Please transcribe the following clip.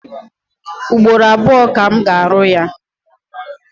Ugboro abụọ ka m ga-arụ ya.